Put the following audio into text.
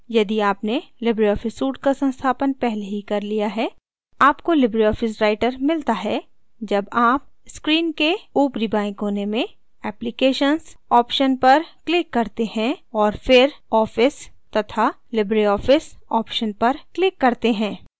यदि आपने libre office suite का संस्थापन पहले ही कर लिया है आपको लिबरे ऑफिस राइटर मिलता है जब आप स्क्रीन के ऊपरी बाएँ कोने में applications ऑप्शन क्लिक करते हैं और फिर office तथा libreoffice ऑप्शन पर क्लिक करते हैं